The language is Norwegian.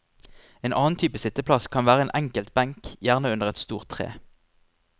En annen type sitteplass kan være en enkelt benk, gjerne under et stort tre.